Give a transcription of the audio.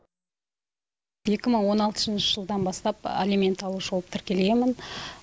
екі мың он алтыншы жылдан бастап алимент алушы болып тіркелгенмін